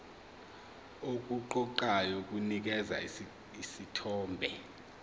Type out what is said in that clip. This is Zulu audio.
okuqoqayo kunikeza isithombe